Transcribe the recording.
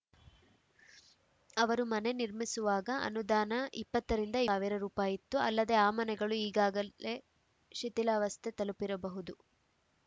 ಅವರು ಮನೆ ನಿರ್ಮಿಸುವಾಗ ಅನುದಾನ ಇಪ್ಪತ್ತು ರಿಂದ ಇಪ್ಪತ್ತ್ ಐದು ಸಾವಿರ ರುಪಾಯಿ ಇತ್ತು ಅಲ್ಲದೆ ಆ ಮನೆಗಳು ಈಗಾಗಲೇ ಶಿಥಿಲಾವಸ್ಥೆ ತಲುಪಿರಬಹುದು